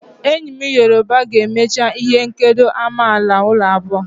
Enyi m yoruba ga-emecha ihe nkedo amala abuo.